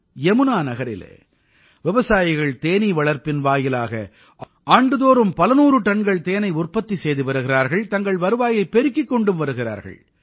யமுனா நகரிலே விவசாயிகள் தேனீ வளர்ப்பின் வாயிலாக ஆண்டுதோறும் பல நூறு டன்கள் தேனை உற்பத்தி செய்து வருகிறார்கள் தங்கள் வருவாயைப் பெருக்கிக் கொண்டும் வருகிறார்கள்